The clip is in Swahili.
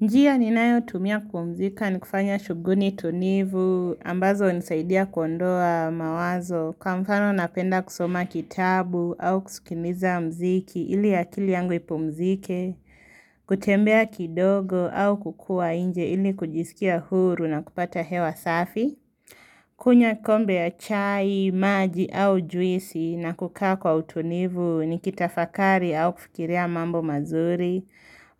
Njia ninayo tumia kupumzika ni kufanya shuguli tunivu, ambazo hunisaidia kuondoa mawazo, kwa mfano napenda kusoma kitabu au kusukiliza mziki ili akili yangu ipumzike, kutembea kidogo au kukua nje ili kujisikia huru na kupata hewa safi, kunywa kikombe ya chai, maji au juisi na kukaa kwa utunivu ni kitafakari au kufikiria mambo mazuri